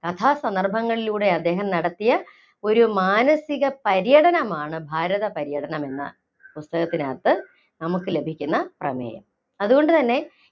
കഥാസന്ദർഭങ്ങളിലൂടെ അദ്ദേഹം നടത്തിയ ഒരു മാനസിക പര്യടനമാണ്‌ ഭാരത പര്യടനമെന്ന പുസ്‌തകത്തിനകത്ത്‌ നമുക്കു ലഭിക്കുന്ന പ്രമേയം. അതുകൊണ്ടുതന്നെ